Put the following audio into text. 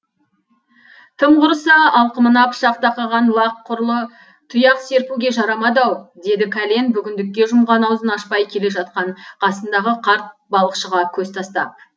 тым құрыса алқымына пышақ тақаған лақ құрлы тұяқ серпуге жарамады ау деді кәлен бүгіндікке жұмған аузын ашпай келе жатқан қасындағы қарт балықшыға көз тастап